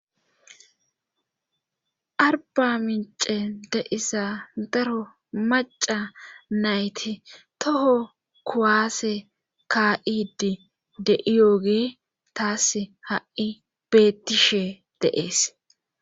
Arba mince deissa daro maca nayti toho kuwaase ka7idi de7iyooge taas ha7i bettishe deees.